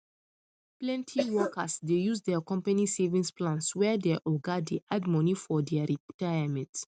plenty workers dey use their company savings plan where their oga dey add money for dia retirement